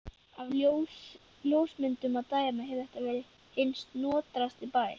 Af ljósmyndum að dæma hefur þetta verið hinn snotrasti bær.